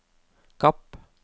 Kapp